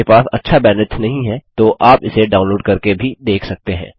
यदि आपके पास अच्छा बैन्ड्विड्थ नहीं है तो आप इसे डाउनलोड़ करके भी देख सकते हैं